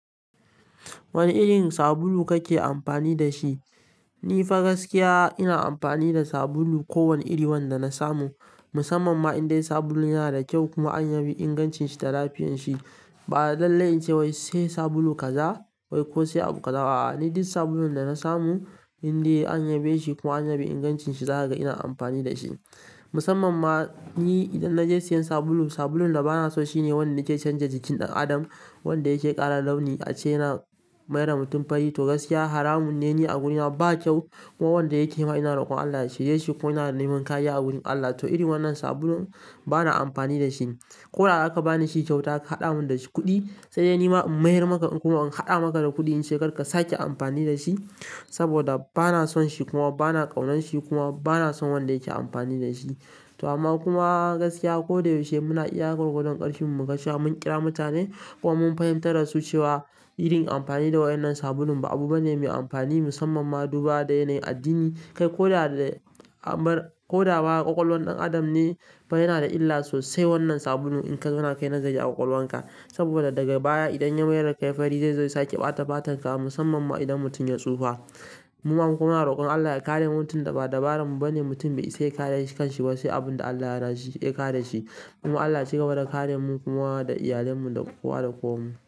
Wane irin sabulu kake amfani da shi? Ni fa gaskiya ina amfani da sabulu kowane iri wanda na samu. Musamman ma in dai sabulun yana da kyau kuma an yabe ingancin shi da lafiyan shi. Ba da dalle ince wai sai sabulu kaza wai ko sai abu kaza a'a. Ni duk sabulun da na samu in dai an yabe shi kuma an yabe ingancin shi, za kaga ina amfani da shi. Musamman ma ni idan na je siyan sabulu, sabulun da ba na so shine wanda ke canza jikin ɗan adam, wanda yake ƙara launi ace yana mai wa mutum fari. To gaskiya haramun ne a gunina, ba kyau. Kuma wanda yake yi ma ina rokon Allah ya shirye shi kuma ina neman kariya a gurin Allah. To iri wannan sabulun ba na amfani da shi. Ko da aka bani shi kyauta aka haɗa mun da shi kuɗi, sai dai ni ma in mai wa maka kuma in haɗa maka da kuɗi in sai kar ka sake amfani da shi. Saboda ba na son shi kuma ba na ƙaunar shi kuma ba na son wanda yake amfani da shi. To amma kuma gaskiya ko da yaushe muna iya gwagwandon ƙarfin mu mu kashe mun ƙira mutane kuma mun fahimtar dasu cewa irin amfani da wannan sabulun ba abu bane mai amfani. Musamman ma duba da yanayin addini. Kai ko da da ko da ba ƙwaƙwalwan ɗan adam ne ba yana da illa sosai wannan sabulun in zauna kai nazari a ƙwaƙwalwan ka. Saboda daga baya idan ya mayar kai fari, zai sake ɓata fatan ka musamman ma idan mutum ya tsufa. Muma kuma rokon Allah ya kare mutum da ba dabarar mu ba ne mutum bai isa ya kare kan shi ba sai abin da Allah ya raziki ya kare shi. Kuma Allah ya cigaba da karemu kuma da iyalan mu da kowa da kowan mu.